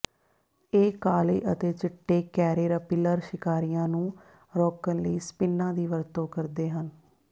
ਇਹ ਕਾਲੇ ਅਤੇ ਚਿੱਟੇ ਕੈਰੇਰਪਿਲਰ ਸ਼ਿਕਾਰੀਆਂ ਨੂੰ ਰੋਕਣ ਲਈ ਸਪਿਨਾਂ ਦੀ ਵਰਤੋਂ ਕਰਦੇ ਹਨ